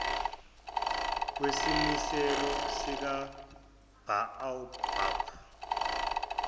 wesimiselo sika baobab